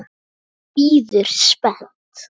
Fólk bíður spennt.